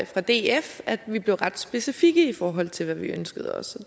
fra df at vi blev ret specifikke i forhold til hvad vi ønskede os